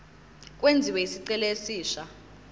kwenziwe isicelo esisha